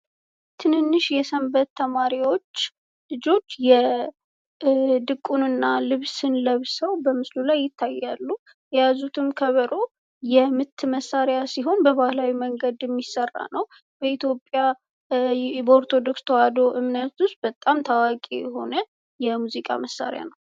ትንንሸ የሰንበት ተማሪዎች ልጆች የድቁንና ልብስን ለብሰው በምስሉ ላይ ይታያሉ። የያዙትም ከበሮ የምት መሳሪያ ሲሆን በባህላዊ መንገድ የሚስራ ነው። ኢትዮጵያ ኦርቶዶክስ ተዋህዶ እምነት ውስጥ በጣም ታዋቂ የሆነ የሙዚዋ መሳሪያ ነው።